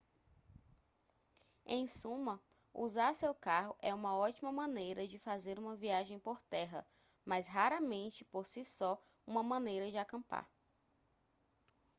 em suma usar seu carro é uma ótima maneira de fazer uma viagem por terra mas raramente por si só uma maneira de acampar